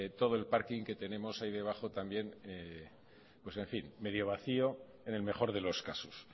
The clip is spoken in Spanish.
todo el parking que tenemos ahí debajo también medio vacío en el mejor de los casos